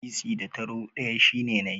Sisi da taro ɗaya shine nai.